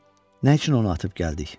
Nə üçün onu atıb gəldik?